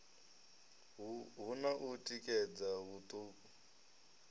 hu na u tikedza huṱuku